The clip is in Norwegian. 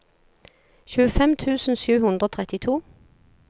tjuefem tusen sju hundre og trettito